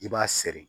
I b'a seri